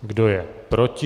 Kdo je proti?